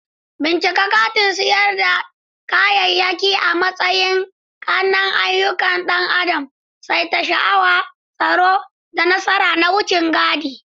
Bincika kantin sayar da kayayyaki a matsayin ƙananan ayyukan ɗan adam, saitin sha'awa, tsoro, da nasara na wucin gadi.